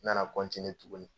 N nana tuguni